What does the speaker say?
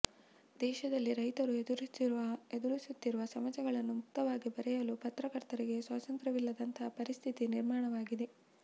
ದೇಶದಲ್ಲಿ ರೈತರು ಎದುರಿಸುತ್ತಿರುವ ಸಮಸ್ಯೆಗಳನ್ನು ಮುಕ್ತವಾಗಿ ಬರೆಯಲು ಪತ್ರಕರ್ತರಿಗೆ ಸ್ವಾತಂತ್ರವಿಲ್ಲದಂತಹ ಪರಿಸ್ಥಿತಿ ನಿರ್ಮಾಣವಾಗಿದೆ